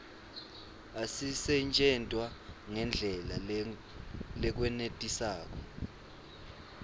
asisetjentwa ngendlela lekwenetisako